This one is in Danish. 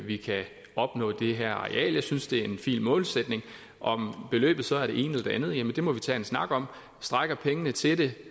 vi kan opnå det her areal jeg synes at det er en fin målsætning og om beløbet så er det ene eller det andet må vi tage en snak om strækker pengene til det